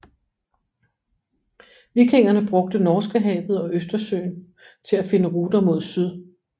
Vikingerne brugte Norskehavet og Østersøen til at finde ruter mod syd